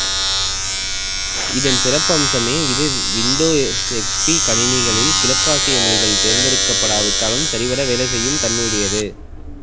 இதன் சிறப்பம்சமே இது விண்டோஸ் எக்ஸ்பி கணினிகளில் கிழக்கு ஆசிய மொழிகள் தேர்ந்தெடுக்கப்படாவிட்டாலும் சரிவர வேலை செய்யும் தன்மையுடையது